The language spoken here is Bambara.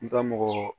N ka mɔgɔ